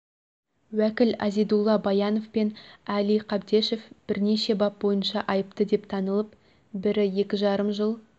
уәкіл азидулла баянов пен әли қабдешевбірнеше бап бойынша айыпты деп танылып бірі екі жарым жыл